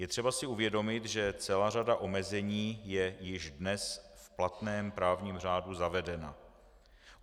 Je třeba si uvědomit, že celá řada omezení je již dnes v platném právním řádu zavedena.